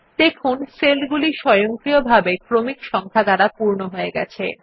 দেখুন সেল গুলি স্বয়ংক্রিয়ভাবে ক্রমিক সংখ্যা দ্বারা পূর্ণ হয়ে গেছে